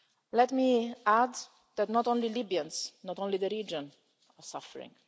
Let me add that it is not only Libyans, not only the region, that are suffering.